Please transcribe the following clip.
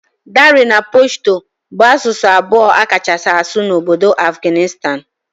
Dari na Pashto bụ asụsụ abụọ akachasi asụ n'obodo Afghanistan.